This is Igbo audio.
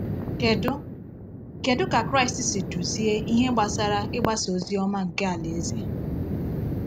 Kedu Kedu ka Kraịst si duzie ihe gbasara ịgbasa ozi ọma nke Alaeze?